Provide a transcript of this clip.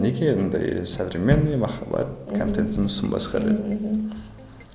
неге мынандай современный махаббат контентін ұсынбасқа деп мхм